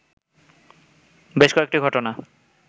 বেশ কয়েকটি ঘটনা